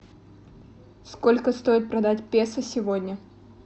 сколько стоит продать песо сегодня